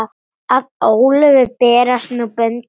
Að Ólöfu berast nú böndin.